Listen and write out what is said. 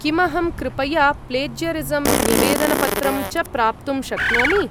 किमहं कृपया प्लेज्यरिसं न्यवेदनपत्रं च प्राप्तुं शक्नोमि?